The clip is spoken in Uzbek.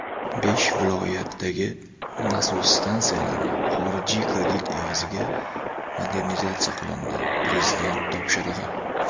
Besh viloyatdagi nasos stansiyalari xorijiy kredit evaziga modernizatsiya qilinadi — Prezident topshirig‘i.